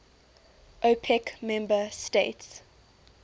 opec member states